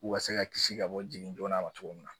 U ka se ka kisi ka bɔ jigin joona ma cogo min na